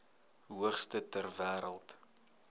hoogste ter wêreld